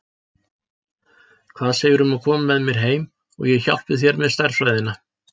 Hvað segirðu um að koma með mér heim og ég hjálpi þér með stærðfræðina?